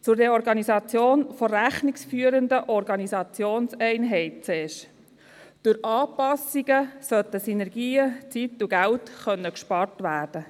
Zur Reorganisation der rechnungsführenden Organisationseinheiten zuerst: Durch Anpassungen sollten Synergien, Zeit und Geld gespart werden.